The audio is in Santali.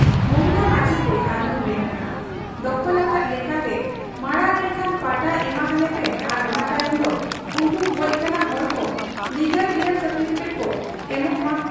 ᱢᱚᱸᱜᱽᱞᱟ ᱢᱟᱹᱡᱷᱤᱜᱮ ᱟᱨᱦᱚᱸᱭ ᱢᱮᱱ ᱟᱠᱟᱜ ᱟ ᱫᱚᱠᱷᱚᱞ ᱟᱠᱟᱫ ᱞᱮᱠᱟᱛᱮ ᱢᱟᱬᱟᱝ ᱮᱱᱠᱷᱟᱱ ᱯᱟᱴᱟ ᱮᱢᱟ ᱦᱟᱞᱮᱯᱮ ᱟᱨ ᱚᱱᱟ ᱛᱟᱭᱚᱢ ᱫᱚ ᱩᱱᱠᱩ ᱜᱚᱡ ᱠᱟᱱᱟ ᱦᱚᱲᱠᱚ ᱞᱤᱜᱟᱞᱦᱮᱭᱟᱨ ᱥᱟᱨᱴᱤᱯᱷᱤᱠᱮᱴ ᱠᱚ ᱮᱢᱚᱜᱚᱜ ᱢᱟ ᱾